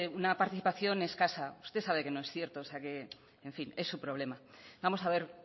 una participación escasa usted sabe que no es cierto o sea que en fin es su problema vamos a ver